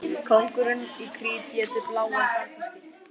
Kóngurinn í Krít étur bláan barnaskít.